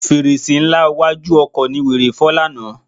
Fèrèsé ńlá iwájú ọkọ̀ ni wèrè fọ́ lánàá.